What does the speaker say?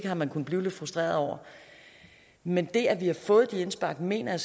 har man kunnet blive lidt frustreret over men det at vi har fået de indspark mener